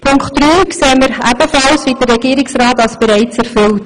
Punkt 3 erachten wir wie der Regierungsrat als bereits erfüllt.